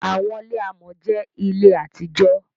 Àwọńilẹ̀ àmọ̀ jẹ́ ilẹ̀ àti jò.